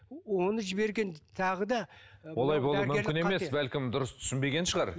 оны жіберген тағы да олай болу мүмкін емес бәлкім дұрыс түсінбеген шығар